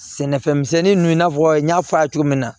Sɛnɛfɛn misɛnnin ninnu i n'a fɔ n y'a fɔ a' ye cogo min na